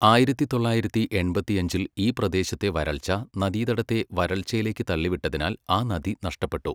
ആയിരത്തി തൊള്ളായിരത്തി എൺപത്തിഅഞ്ചിൽ ഈ പ്രദേശത്തെ വരൾച്ച നദീതടത്തെ വരൾച്ചയിലേക്ക് തള്ളിവിട്ടതിനാൽ ആ നദി നഷ്ടപ്പെട്ടു.